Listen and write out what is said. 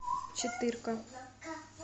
четырка